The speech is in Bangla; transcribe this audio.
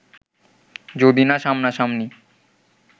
যদি না সামনাসামনি